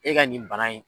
E ka nin bana in